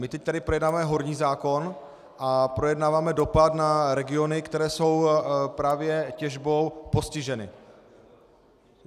My tady teď projednáváme horní zákon a projednáváme dopad na regiony, které jsou právě těžbou postiženy.